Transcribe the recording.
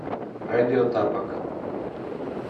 радио тапок